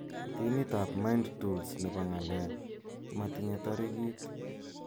Timit ab Mind Tools nebo ng'alek , matinye tarikit